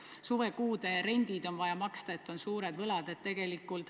Aga ka suvekuude rendid on vaja maksta, on suured võlad.